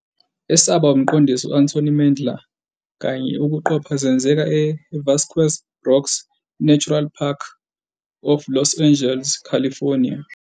Esaba umqondisi Anthony Mandler kanye ukuqopha zenzeka e Vasquez Rocks Natural Park of Los Angeles, California.